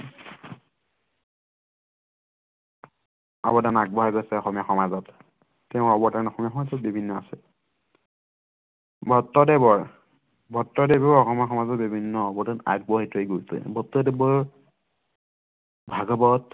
অৱদান আগবঢ়ায় গৈছে অসমীয়া সমাজত তেওঁ অৱদান অসমীয়া সমাজতো বিভিন্ন আছে ভট্টদেৱৰ ভট্টদেৱেও অসমীয়া সমাজত বিভিন্ন অৱদান আগবঢ়ায় থৈ গৈছে ভট্টদেৱৰ ভাগৱত